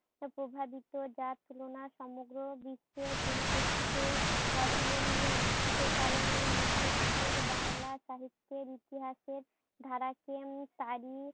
প্রভাবিত, যার তুলনা সমগ্র বিশ্বের পরিপ্রেক্ষিতে অতুলনীয়। কারণ েএই মধ্য যুগের বাংলা সাহিত্যের ইতিহাসের ধারাকে তারই